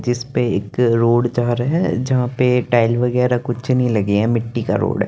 जिस पे एक रोड जा रा है जहां पे टाइल वगैरह कुछ नहीं लगे हैं मिट्टी का रोड है।